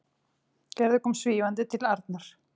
Gerður kom svífandi til Arnar.